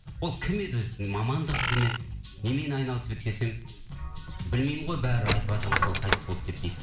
ол кім еді өзі мамандығы кім еді немен айналысып еді десем білмеймін ғой бәрі айтыватыр ғой сол қайтыс болды деп дейді